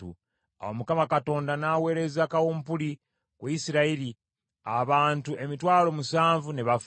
Awo Mukama Katonda n’aweereza kawumpuli ku Isirayiri, abantu emitwalo musanvu ne bafa.